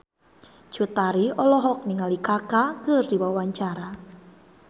Cut Tari olohok ningali Kaka keur diwawancara